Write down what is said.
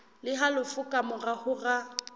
le halofo ka mora hora